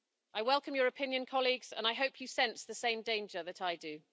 I welcome your opinion, colleagues, and I hope you sense the same danger that I do.